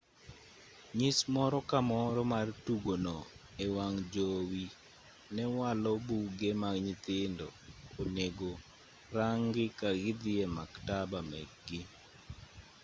nyis moro ka moro mar tugono e wang' jowi ne walo buge ma nyithindo onego rangi ka gidhi e maktaba mekgi